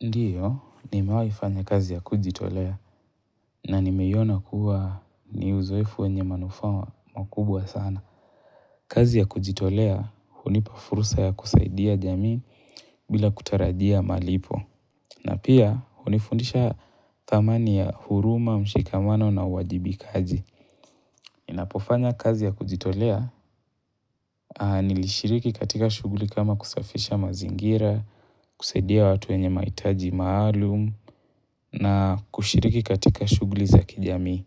Ndiyo, nimewahi fanya kazi ya kujitolea na nimeiona kuwa ni uzoefu wenye manufaa makubwa sana. Kazi ya kujitolea hunipa fursa ya kusaidia jamii bila kutarajia malipo. Na pia, hunifundisha thamani ya huruma, mshikamano na uwajibikaji. Ninapofanya kazi ya kujitolea, nilishiriki katika shughuli kama kusafisha mazingira, kusaidia watu wenye mahitaji maalum na kushiriki katika shughuli za kijamii.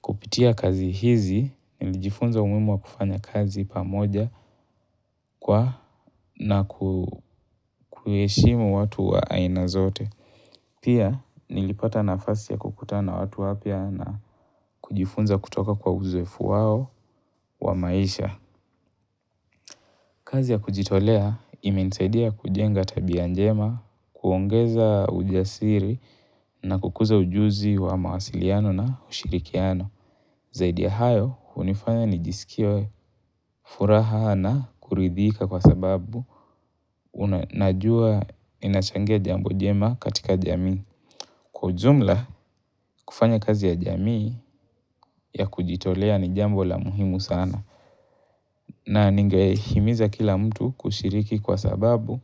Kupitia kazi hizi, nilijifunza umuhimu wa kufanya kazi pamoja kwa na kuheshimu watu wa aina zote. Pia, nilipata nafasi ya kukutana na watu wapya na kujifunza kutoka kwa uzoefu wao wa maisha. Kazi ya kujitolea imenisadia kujenga tabia njema, kuongeza ujasiri na kukuza ujuzi wa mawasiliano na ushirikiano. Zaidi ya hayo, hunifanya nijisikie furaha na kuridhika kwasababu najua inachangia jambo jema katika jamii. Kwa ujumla, kufanya kazi ya jamii ya kujitolea ni jambo la muhimu sana. Na ningehimiza kila mtu kushiriki kwasababu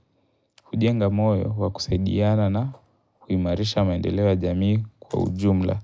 hujenga moyo wa kusaidiana na huimarisha maendeleo ya jamii kwa ujumla.